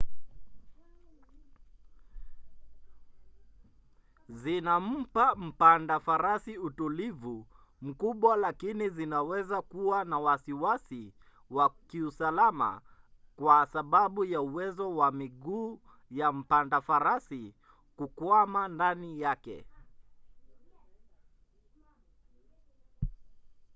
zinampa mpanda farasi utulivu mkubwa lakini zinaweza kuwa na wasiwasi wa kiusalama kwa sababu ya uwezo wa miguu ya mpanda farasi kukwama ndani yake